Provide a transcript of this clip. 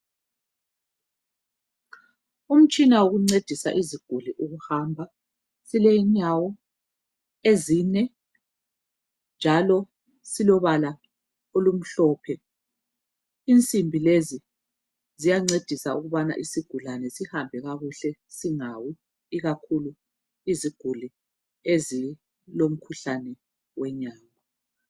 Umtshina wokuncedisa iziguli ukuhamba. Ulenyawo ezine njalo silobala olumhlophe. Insimbi lezi ziyancedisa isigulani ukubana sihambe kakuhle singawi ikakhulu iziguli ezilomkhuhlane wenyawo.